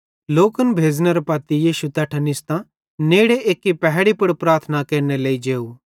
लोकन भेज़नेरे पत्ती यीशु तैट्ठां निस्तां नेड़े एक्की पहैड़ी पुड़ प्रार्थना केरनेरे लेइ जेव